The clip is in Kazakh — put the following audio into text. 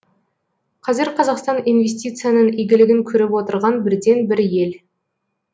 қазір қазақстан инвестицияның игілігін көріп отырған бірден бір ел